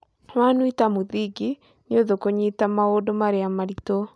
wanuita mũthingi, nïũthũ kũnyita maũndũ maria maritũ